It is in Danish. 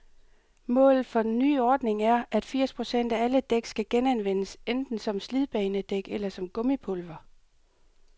Målet for den nye ordning er, at firs procent af alle dæk skal genanvendes, enten som slidbanedæk eller som gummipulver.